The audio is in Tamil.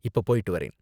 இப்ப போய்ட்டு வரேன்